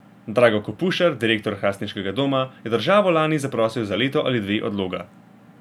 Drago Kopušar, direktor hrastniškega doma, je državo lani zaprosil za leto ali dve odloga.